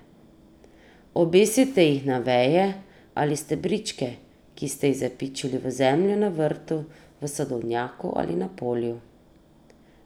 Obesite jih na veje ali stebričke, ki ste jih zapičili v zemljo na vrtu, v sadovnjaku ali na polju.